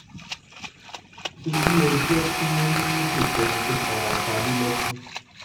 ṣebí ẹ gbọ́ tí wọ́n ní kò sẹ́ni tó fara pa ní lẹ́kí